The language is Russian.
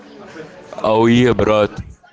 ауе брат